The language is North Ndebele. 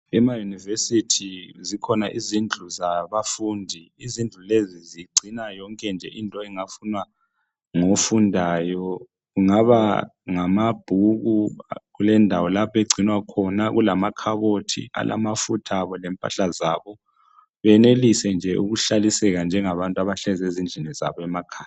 Emayunivesithi zikhona izindlu zabafundi izindlu lezi zigcina yonke nje into engafunwa ngofundayo kungaba ngamabhuki kulendawo lapha agcinwa khona kulamakhabothi alamafuthabo lempahla zabo benelise nje ukuhlaliseka njengabantu abahleli ezindlini zabo emakhaya